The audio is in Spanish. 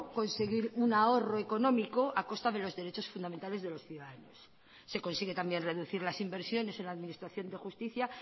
conseguir un ahorro económico a costa de los derechos fundamentales de los ciudadanos se consigue también reducir las inversiones en la administración de justicia